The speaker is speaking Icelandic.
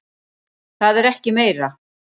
Það er ekki meira.